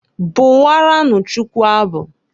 Bụwaranụ Chukwu abụ.